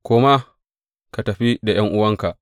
Koma, ka tafi da ’yan’uwanka.